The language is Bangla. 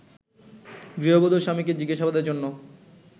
গৃহবধূর স্বামীকে জিজ্ঞাসাবাদের জন্য